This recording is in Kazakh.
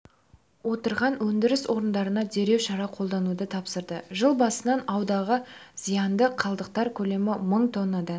отырған өндіріс орындарына дереу шара қолдануды тапсырды жыл басынан ауадағы зиянды қалдықтар көлемі мың тоннадан